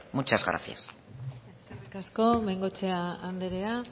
muchas gracias eskerrik asko bengoechea anderea